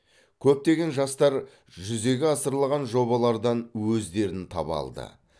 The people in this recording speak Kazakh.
көптеген жастар жүзеге асырылған жобалардан өздерін таба алды